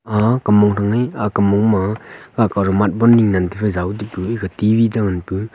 a kam mong thang ai kam mong ma akao duh matbol ni che ngan tafai jau tipu ekah T_V che ngan pu.